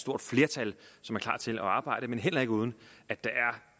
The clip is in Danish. stort flertal som er klar til at arbejde men heller ikke uden at der